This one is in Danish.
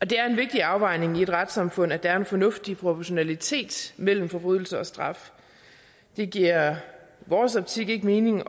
det er en vigtig afvejning i et retssamfund at der er en fornuftig proportionalitet mellem forbrydelse og straf det giver i vores optik ikke mening